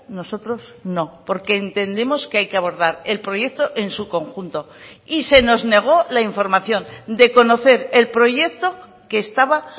nosotros no porque entendemos que hay que abordar el proyecto en su conjunto y se nos negó la información de conocer el proyecto que estaba